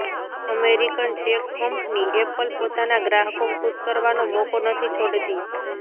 American tech company Apple પોતાના ગ્રાહકો ખુશ કરવાનો મોકો નથી છોડતી